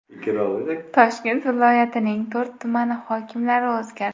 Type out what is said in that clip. Toshkent viloyatining to‘rt tumani hokimlari o‘zgardi.